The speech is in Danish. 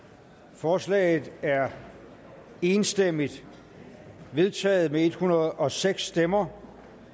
forslaget er enstemmigt vedtaget med en hundrede og seks stemmer